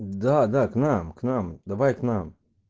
да да к нам к нам давай к нам